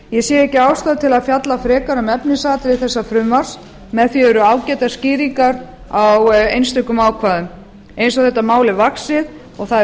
ég sé ekki ástæðu til að fjalla frekar um efnisatriði þessa frumvarps með því eru ágætar skýringar á einstökum ákvæðum eins og þetta mál er vaxið og það er